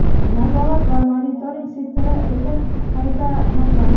nazorat va monitoring sektori) etib qayta nomlandi.